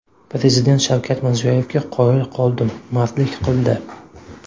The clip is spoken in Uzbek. Prezident Shavkat Mirziyoyevga qoyil qoldim, mardlik qildi.